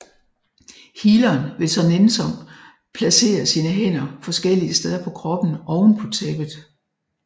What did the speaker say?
Healeren vil så nænsomt placere sine hænder forskellige steder på kroppen oven på tæppet